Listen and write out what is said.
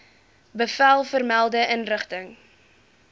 bevel vermelde inrigting